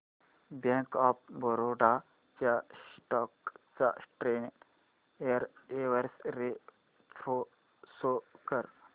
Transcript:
bank of Baroda च्या stock चा ten year x ray pro show कर